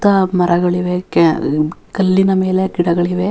ಸುತ್ತಾ ಮರಗಳಿವೆ ಕಲ್ಲಿನ ಮೇಲೆ ಗಿಡಗಳಿವೆ.